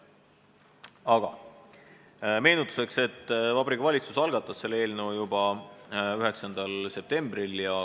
Ütlen meenutuseks, et Vabariigi Valitsus algatas selle eelnõu juba 9. septembril.